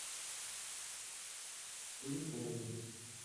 куликову